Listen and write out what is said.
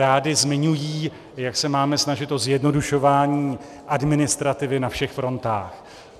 Rády zmiňují, jak se máme snažit o zjednodušování administrativy na všech frontách.